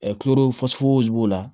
b'o la